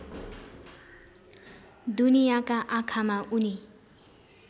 दुनियाँका आँखामा उनी